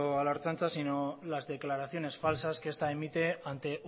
a la ertzaintza sino las declaraciones falsa que esta emite ante